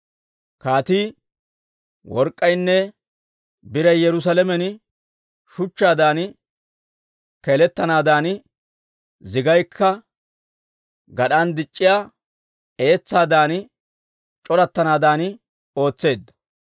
Kaatii work'k'aynne biray Yerusaalamen shuchchaadan keeletanaadan, zigaykka gad'an dic'c'iyaa etsaadan c'orattanaadan ootseedda.